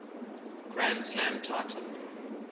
grand slam title